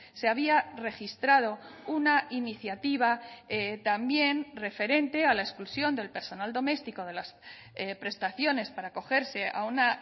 se había registrado una iniciativa también referente a la exclusión del personal doméstico de las prestaciones para acogerse a una